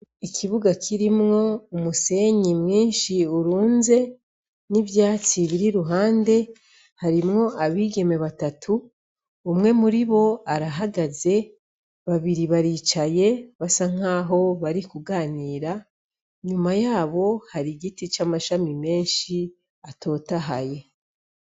Ikibuga kirimwo umusenyi mwinshi urunze n'ivyatsi biri iruhande harimwo abigeme batatu , umwe muribo arahagaze babiri baricaye basa nkaho bari kuganira, inyuma yabo hari igiti c'amashami menshi atotahaye.